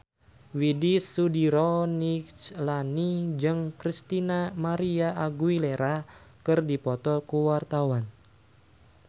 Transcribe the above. Widy Soediro Nichlany jeung Christina María Aguilera keur dipoto ku wartawan